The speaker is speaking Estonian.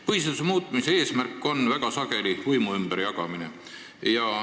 Põhiseaduse muutmise eesmärk on väga sageli võimu ümberjagamine.